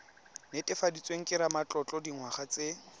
netefaditsweng ke ramatlotlo dingwaga tse